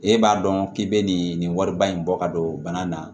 E b'a dɔn k'i bɛ nin wariba in bɔ ka don bana na